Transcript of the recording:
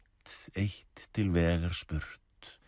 eitt til vegar spurt